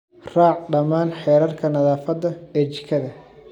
Raac dhammaan xeerarka nadaafadda ee jikada.